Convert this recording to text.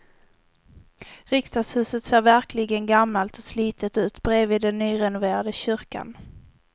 Riksdagshuset ser verkligen gammalt och slitet ut bredvid den nyrenoverade kyrkan.